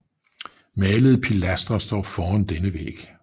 Malede pilastre står foran denne væg